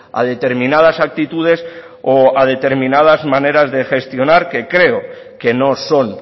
a determinadas actitudes o a determinadas maneras de gestionar que creo que no son